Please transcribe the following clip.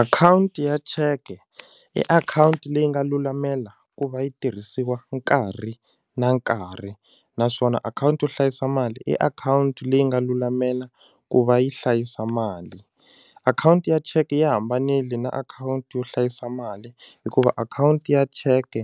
Akhawunti ya cheke i akhawunti leyi nga lulamela ku va yi tirhisiwa nkarhi na nkarhi naswona akhawunti yo hlayisa mali i akhawunti leyi nga lulamela ku va yi hlayisa mali akhawunti ya cheke yi hambanile na akhawunti yo hlayisa mali hikuva akhawunti ya cheke